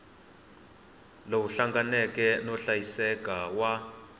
lowu hlanganeke no hlayiseka wa